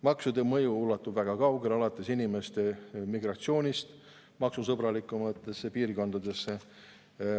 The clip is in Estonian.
Maksude mõju ulatub väga kaugele, alates inimeste migratsioonist maksusõbralikumatesse piirkondadesse.